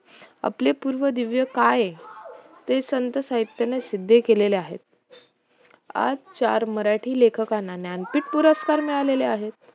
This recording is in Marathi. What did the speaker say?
आपले पूर्व दिव्य काय आहे हे संत साहित्याने सिद्ध केलेले आहे आज चार मराठी लेखकांना ज्ञानपीठ पुरस्कार मिळालेले आहेत